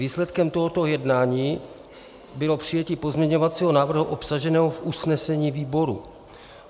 Výsledkem tohoto jednání bylo přijetí pozměňovacího návrhu obsaženého v usnesení výboru.